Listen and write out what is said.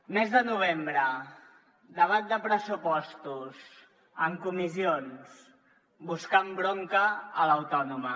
mes de novembre debat de pressupostos en comissions buscant bronca a l’autònoma